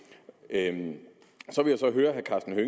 jamen